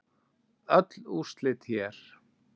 Öll úrslit hér